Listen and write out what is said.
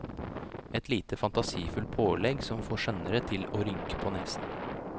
Et lite fantasifullt pålegg som får skjønnere til å rynke på nesen.